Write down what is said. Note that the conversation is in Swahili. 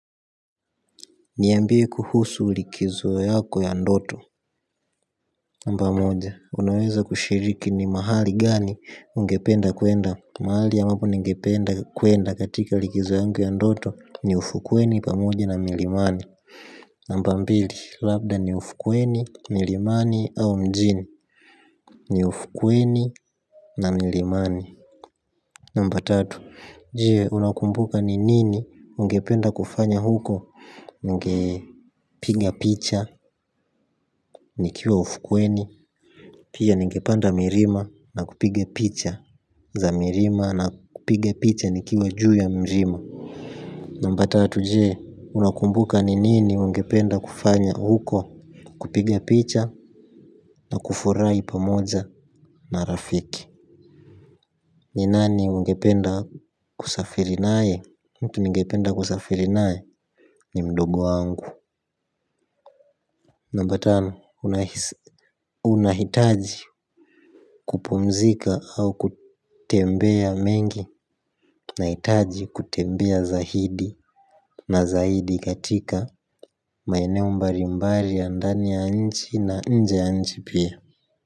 Niambie kuhusu likizo yako ya ndoto namba moja, unaweza kushiriki ni mahali gani ungependa kuenda. Mahali ambapo ningependa kuenda katika likizo yangu ya ndoto. Ni ufukweni pamoja na milimani namba mbili, labda ni ufukweni, milimani au mjini. Ni ufukweni na milimani namba tatu, je unakumbuka ni nini ungependa kufanya huko. Ningepiga picha. Nikiwa ufukweni pia ningepanda milima na kupiga picha za milima na kupiga picha nikiwa juu ya mlima. Namba tatu je unakumbuka ni nini ungependa kufanya huko. Kupiga picha na kufurahi pamoja na rafiki. Ni nani ungependa kusafiri naye. Mtu ningependa kusafiri nae ni mdogo wangu. Namba tano unahitaji kupumzika au kutembea mengi nahitaji kutembea zaidi na zaidi katika maeneo mbalimbali ya ndani ya nchi na nje ya nchi pia.